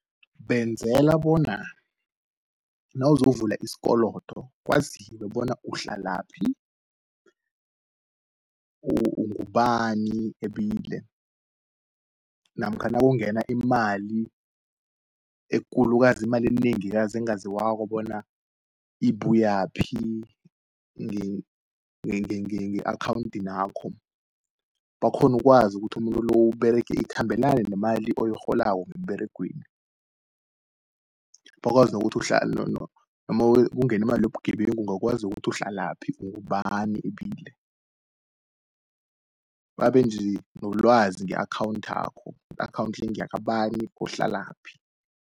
Benzela bona nawuzovula iskolodo kwaziwe bona uhlalapi, ungubani ebile, namkha nakungena imali ekulukazi, imali enengikazi engaziwako bona ibuyaphi, nge-akhawuntinakho. Bakghonu ukwazi ukuthi umuntu lo, ikhambelane nemali oyirholako emberegweni, bakwazi nokuthi kungeni imali yobugebengu uhlalaphi ugubani ebile. Babenje nolwazi nge-akhawunthakho, i-akhawunti le, ngeya kabani uhlalaphi.